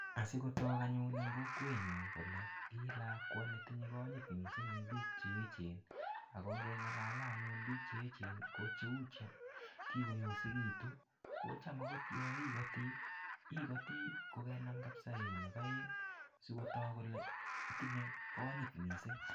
Asi kotook anyun eng kokwenyu kole ilakwa ne tinye konyit mising eng piik che echen, ako ngengalale anyun piik che echen ko cheu che kikoyosekitu, kocham akot yo ikoti, ikoti kokenam kabisa eunek aeng sikotook kole itinye konyit mising.